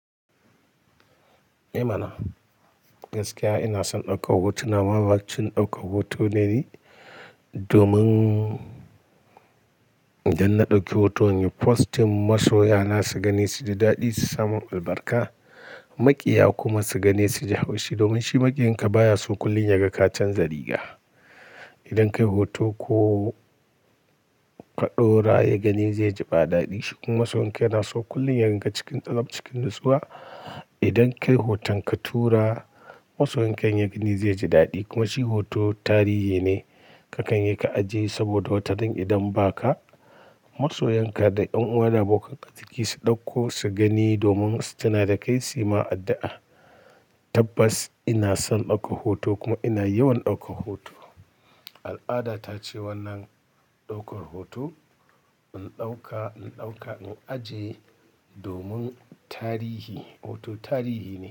Eh mana, gaskiya ina son ɗaukar hoto. Na ma bacin ɗaukar hoto ne ni domin idan na ɗauki hoto, in yi posting, masoya na su gani su ji daɗi, su samu albarka. Maƙiya kuma su gani su ji haushi domin shi maƙiyan ka baya so kullum yaga ka canza riga. Idan ka yi hoto ko ka ɗora, ya gani zai ji ba daɗi shi. Kuma masoyan ka yana so kullum ya ringa cikin tsab cikin natsuwa. Idan ka yi hoton ka tura, masoyan ka in ya gani zai ji daɗi. Kuma shi hoto tarihi ne kakan yi ka ajiye saboda watarin idan ba ka, masoyan ka da yan uwa da abokan kai su ɗauko su gani domin suna da kai, su yi ma addu'a. Tabbas ina son ɗaukar hoto kuma ina yawan ɗaukar hoto. Al'ada ta ce wannan ɗaukar hoto in ɗauka, in ɗauka in ajiye domin tarihi, hoto tarihi ne.